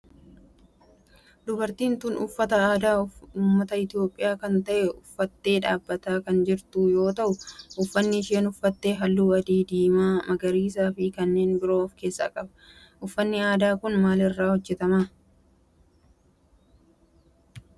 Dubartiin tun uffata aadaa ummata Itiyoophiyaa kan ta'e uffattee dhaabbattee kan jirtu yoo ta'u uffanni isheen uffatte halluu akka adii, diimaa, magariisaa fi kanneen biroo of keessaa qaba. Uffanni aadaa kun maal irraa hojjetama?